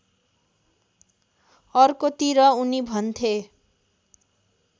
अर्कोतिर उनी भन्थे